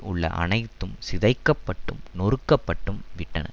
உள்ள அனைத்தும் சிதைக்கப்பட்டும் நொறுக்கப்பட்டும் விட்டன